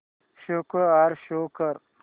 score show कर